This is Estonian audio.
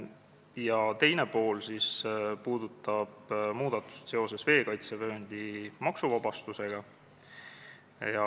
Ettepaneku teine pool puudutab muudatust seoses veekaitsevööndi maksuvabastusega.